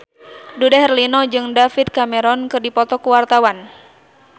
Dude Herlino jeung David Cameron keur dipoto ku wartawan